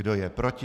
Kdo je proti?